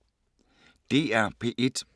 DR P1